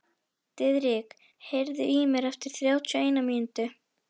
Diðrik, heyrðu í mér eftir þrjátíu og eina mínútur.